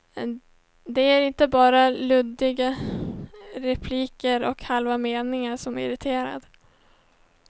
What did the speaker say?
Det är inte bara luddiga repliker och halva meningar, som irriterar.